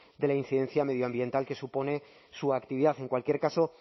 de la incidencia medioambiental que supone su actividad en cualquier caso